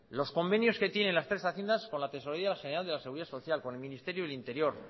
los convenios que tienen las tres haciendas con la tesorería general de la seguridad social con el ministerio del interior